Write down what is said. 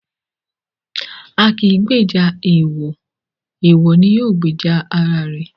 A kì í gbèjà èèwọ̀, èèwọ̀ ni yóò gbèjà ara ẹ̀.